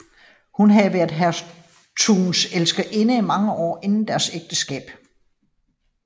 Hun havde været hertugens elskerinde i mange år inden deres ægteskab